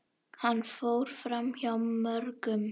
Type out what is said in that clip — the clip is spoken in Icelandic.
Hann fór framhjá mörgum.